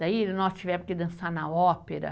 Daí nós tivemos que dançar na ópera.